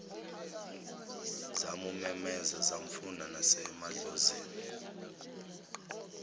zamumemeza zamfuna nasemahlozini